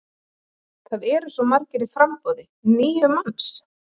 Það eru svo margir í framboði, níu manns?